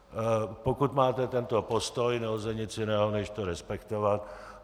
Pokud máte tento postoj, nelze nic jiného než to respektovat.